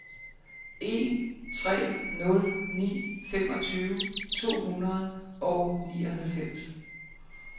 en tre nul ni femogtyve to hundrede og nioghalvfems